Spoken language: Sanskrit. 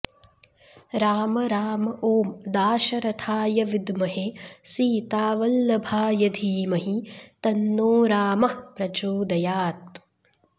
राम राम ॐ दाशरथाय विद्महे सीतावल्लभाय धीमहि तन्नो रामः प्रचोदयात्